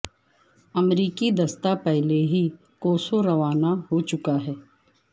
امریکی دستہ پہلے ہی کوسوو روانہ ہو چکا ہے